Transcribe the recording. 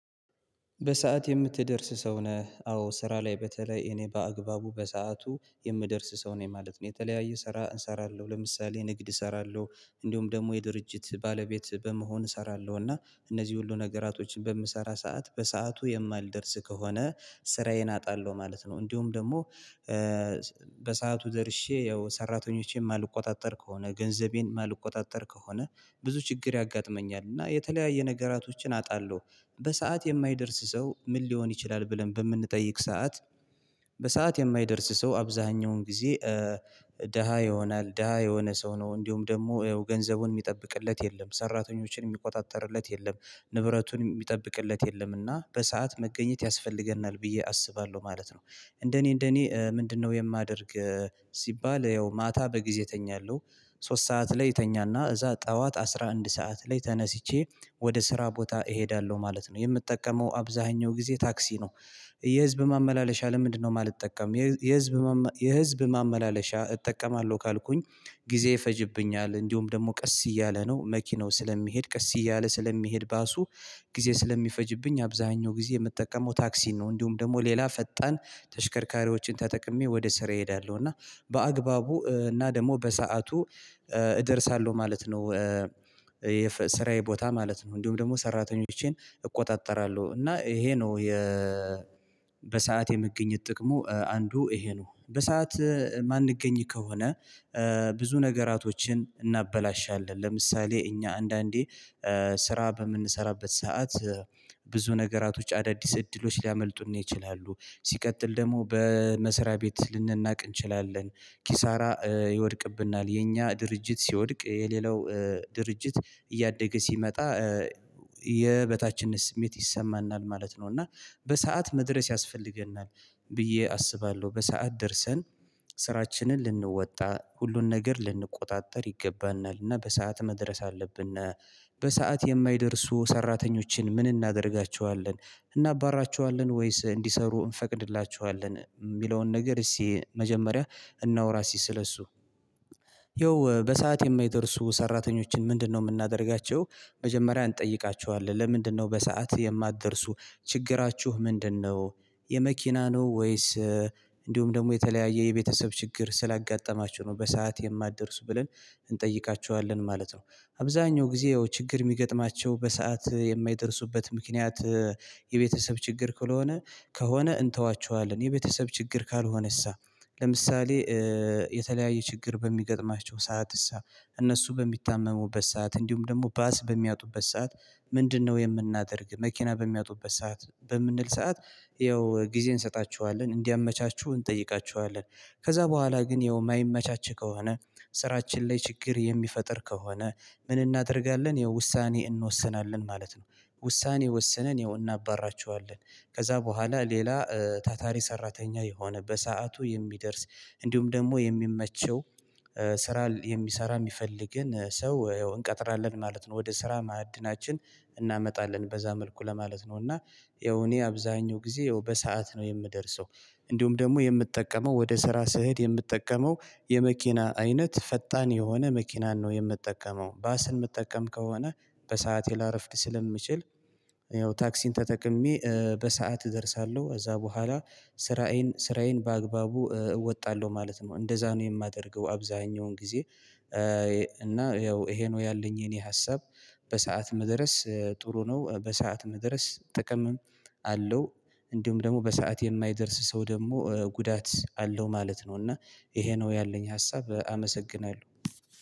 በሰአት የምትደርስ ሰው ነህ አዎ ስራ ላይ በተለይ እኔ በአግባቡ በሰአቱ የምደርስ ሰው ነኝ ማለት ነው። የተለያየ ስራ እሰራለሁ ለምሳሌ ንግድ እሰራለሁ እንደውም ደግሞ የድርጅት ባለቤት በመሆን እሰራለሁ እና እነዚህ ሁሉ ነገራቶችን በምሰራ ሰዓት በሰአቱ የማልደርስ ከሆነ ስራዬን አጣለሁ ማለት ነው። እንዲሁም ደግሞ በሰአቱ ደርሼ ያው ሰራተኞቼን ማልቆጣጠር ከሆነ ገንዘቤን ማልቆጣጠር ከሆነ ብዙ ችግር ያጋጥመኛል እና የተለያየ ነገራቶችን አጣለሁ። በሰአት የማይደርስ ሰው ምን ሊሆን ይችላል? ብለን በምንጠይቅ ሰዓት በሰአት የማይደርስ ሰው አብዛኛውን ጊዜ ደሃ ይሆናል ደሃ የሆነ ሰው ነው እንዲሁም ደግሞ ገንዘቡን የሚጠብቅለት የለም ሰራተኞችን የሚቆጣጠርለት የለም ንብረቱን የሚጠብቅለት የለም እና በሰአት መገኘት ያስፈልገናል ብዬ አስባለሁ ማለት ነው። እንደኔ እንደኔ ምንድነው የማደርግ? ሲባል ያው ማታ በጊዜ እተኛለሁ ሶስት ሰዓት ላይ እተኛና እዛ ጠዋት አስራ አንድ ሰዓት ላይ ተነስቼ ወደ ስራ ቦታ እሄዳለሁ ማለት ነው የምጠቀመው አብዛኛው ጊዜ ታክሲ ነው። የህዝብ ማመላለሻ ለምንድነው የማልጠቀም የህዝብ የህዝብ ማመላለሻ እጠቀማለሁ ካልኩኝ? ጊዜ ይፈጅብኛል እንዲሁም ደግሞ ቀስ እያለ ነው መኪናው ስለሚሄድ ቀስ እያለ ስለሚሄድ ባሱ ጊዜ ስለሚፈጅብኝ አብዛኛው ጊዜ የምጠቀመው ታክሲ ነው። እንዲሁም ደግሞ ሌላ ፈጣን ተሽከርካሪዎችን ተጠቅሜ ወደ ስራ እሄዳለሁ እና በአግባቡ እና ደግሞ በሰአቱ እደርሳለሁ ማለት ነው። የስራዬ ቦታ ማለት ነው እንዲሁም ደግሞ ሰራተኞቼን እቆጣጠራለሁ እና ይሄ ነው። በሰአት የመገኝት ጥቅሙ አንዱ ይሄ ነው በሰአት የማንገኝ ከሆነ። ብዙ ነገራቶችን እናበላሻለን ለምሳሌ እኛ አንዳንዴ ስራ በምንሰራበት ሰዓት ብዙ ነገራቶች አዳዲስ እድሎች ሊያመልጡን ይችላሉ። ሲቀጥል ደግሞ በመስሪያ ቤት ልንናቅ እንችላለን። ኪሳራ ይወድቅብናል የኛ ድርጅት ሲወድቅ የሌላው ድርጅት እያደገ ሲመጣ የበታችነት ስሜት ይሰማናል ማለት ነው። እና በሰአት መድረስ ያስፈልገናል። ብዬ አስባለሁ በሰአት ደርሰን ስራችንን ልንወጣ ሁሉን ነገር ልንቆጣጠር ይገባናልና በሰአት መድረስ አለብንና። በሰአት የማይደርሱ ሰራተኞችን ምን እናደርጋቸዋለን? እናባራቸዋለን ወይስ እንዲሰሩ እንፈቅድላቸዋለን የሚለውን ነገር እሺ መጀመሪያ እናውራ ሲስለሱ ይኸው በሰአት የማይደርሱ ሰራተኞችን ምንድነው የምናደርጋቸው? መጀመሪያ እንጠይቃቸዋለን ለምንድነው በሰአት የማትደርሱ ችግራችሁ ምንድነው? የመኪና ነው ወይስ? እንዲሁም ደግሞ የተለያየ የቤተሰብ ችግር ስላጋጠማችሁ ነው በሰአት የማትደርሱ ብለን እንጠይቃችኋለን ማለት ነው። አብዛኛው ጊዜ ያው ችግር የሚገጥማቸው በሰአት የማይደርሱበት ምክንያት። የቤተሰብ ችግር ከሆነ ከሆነ እንተዋቸዋለን የቤተሰብ ችግር ካልሆነሳ። ለምሳሌ የተለያየ ችግር በሚገጥማቸው ሰዓትሳ እነሱ በሚታመሙበት ሰዓት እንዲሁም ደግሞ ባስ በሚያጡበት ሰዓት ምንድነው የምናደርግ መኪና በሚያጡበት ሰዓት በምንል ሰዓት? ይኸው ጊዜ እንሰጣችኋለን እንዲያመቻቹ እንጠይቃችኋለን። ከዛ በኋላ ግን ይኸው የማይመቻችህ ከሆነ ስራችን ላይ ችግር የሚፈጥር ከሆነ ምን እናደርጋለን ይኸው ውሳኔ እንወስናለን ማለት ነው። ውሳኔ ወሰነን እናባራቸዋለን። ከዛ በኋላ ሌላ ታታሪ ሰራተኛ የሆነበት በሰአቱ የሚደርስ እንዲሁም ደግሞ የሚመቸው ስራ የሚሰራ የሚፈልግን ሰው እንቀጥራለን ማለት ነው። ወደ ስራ ማዕድናችን እናመጣለን በዛ መልኩ ለማለት ነው። እና ይኸው እኔ አብዛኛው ጊዜ ያው በሰአት ነው የምደርሰው። እንዲሁም ደግሞ የምጠቀመው ወደ ስራ ስህድ የምጠቀመው የመኪና አይነት ፈጣን የሆነ መኪናን ነው የምትጠቀመው ባስን መጠቀም ከሆነ። በሰአቴ ላረፍቅ ስለምችል ያው ታክሲን ተጠቅሜ በሰአት እደርሳለሁ ከዛ በኋላ። ስራዬን ስራዬን በአግባቡ እወጣለሁ ማለት ነው። እንደዛ ነው የማደርገው አብዛኛውን ጊዜ። እና ያው ይሄ ነው ያለኝ የኔ ሀሳብ። በሰአት መድረስ ጥሩ ነው በሰአት መድረስ ጥቅምም አለው። እንዲሁም ደግሞ በሰአት የማይደርስ ሰው ደግሞ ጉዳት አለው ማለት ነው። እና ይሄ ነው ያለኝ ሀሳብ አመሰግናለሁ።